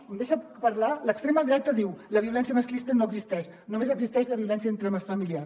em deixa parlar l’extrema dreta diu la violència masclista no existeix només existeix la violència intrafamiliar